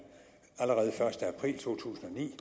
første april to tusind og ni